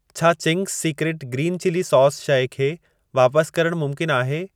छा Ching's secret green chilli sauce शइ खे वापस करण मुमकिन आहे?